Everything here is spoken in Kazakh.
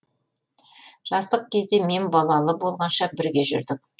жастық кезде мен балалы болғанша бірге жүрдік